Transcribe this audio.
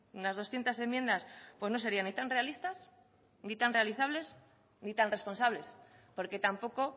unas doscientos enmiendas pues no serían ni tan realistas ni tan realizables ni tan responsables porque tampoco